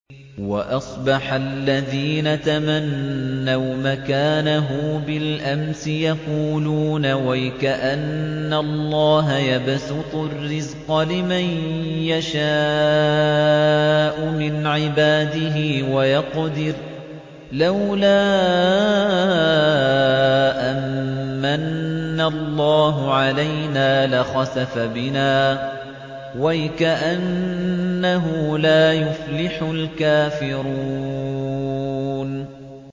وَأَصْبَحَ الَّذِينَ تَمَنَّوْا مَكَانَهُ بِالْأَمْسِ يَقُولُونَ وَيْكَأَنَّ اللَّهَ يَبْسُطُ الرِّزْقَ لِمَن يَشَاءُ مِنْ عِبَادِهِ وَيَقْدِرُ ۖ لَوْلَا أَن مَّنَّ اللَّهُ عَلَيْنَا لَخَسَفَ بِنَا ۖ وَيْكَأَنَّهُ لَا يُفْلِحُ الْكَافِرُونَ